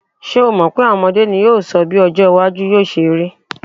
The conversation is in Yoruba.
Ṣé o mọ̀ pé à̀wọn ọmọdé ní yóò sọ bí ọjọ́-iwájú yóò ṣe rí.